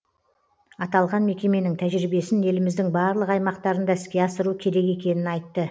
аталған мекеменің тәжірибесін еліміздің барлық аймақтарында іске асыру керек екенін айтты